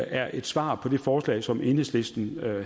er et svar på det forslag som enhedslisten